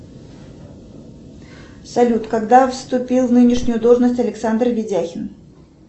салют когда вступил в нынешнюю должность александр видяхин